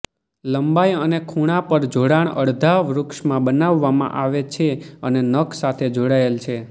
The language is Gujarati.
લંબાઈ અને ખૂણા પર જોડાણ અડધા વૃક્ષમાં બનાવવામાં આવે છે અને નખ સાથે જોડાયેલ છે